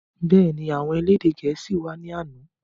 Bẹ́ẹ̀ni, àwọn elédè gẹ̀ẹ́sì wá ní àná